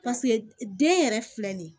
den yɛrɛ filɛ nin ye